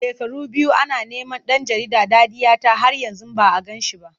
Shekaru biyu ana neman ɗan jarida Dadiyata har yanzu ba a gan shi ba.